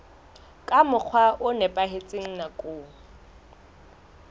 ka mokgwa o nepahetseng nakong